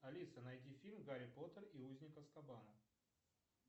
афина найди фильм гарри поттер и узник азкабана